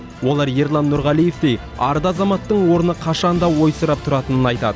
олар ерлан нұрғалиевтей арда азаматтың орны қашан да ойсырап тұратынын айтады